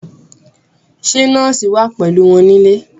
Ṣé nọ́ọ̀sì wà pẹ̀lú wọn nílé